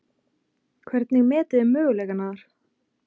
Hvernig metið þið möguleikana þar?